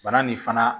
Bana nin fana